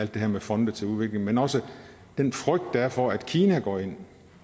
det her med fonde til udvikling men også den frygt der er for at kina går ind